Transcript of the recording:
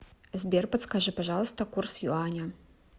сбер подскажи пожалуйста курс юаня